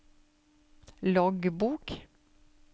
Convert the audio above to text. loggbok